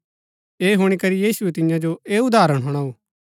ऐह हुणी करी यीशुऐ तियां जो ऐह उदाहरण हुणाऊ